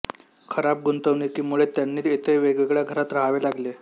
खराब गुंतवणूकीमुळे त्यांना येथे वेगवेगळ्या घरात रहावे लागले